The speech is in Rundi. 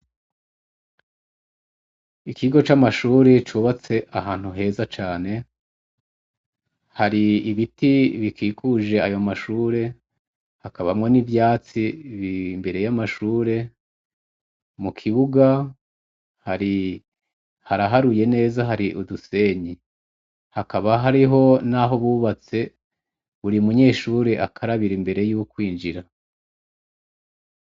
Ikigo cubatse ahantu heza cane, hari ibiti bikikuje ayo mashure, hakabamwo n'ivyatsi imbere y'amashure, ku kibuga haraharuye neza hari udusenyi. Hakaba hariho naho bubatse buri munyeshure akarabira imbere yokwinjira.